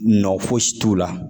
Nɔ fosi t'u la.